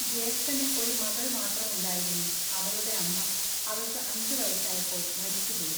ജ്യേഷ്ഠന് ഒരു മകൾ മാത്രമുണ്ടായിരുന്നു. അവളുടെ അമ്മ അവൾക്കു അഞ്ചു വയസ്സായപ്പോൾ മരിച്ചുപോയി.